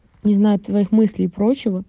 не знаю твоих мыслей прочего